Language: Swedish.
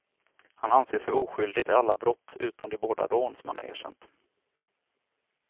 Han anser sig oskyldig till alla brott utom de båda rån som han erkänt.